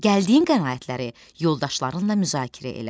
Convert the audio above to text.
Gəldiyin qənaətləri yoldaşlarınla müzakirə elə.